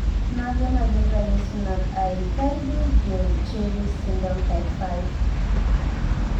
Mage magin ranyisi mag Aicardi Goutieres syndrome type 5?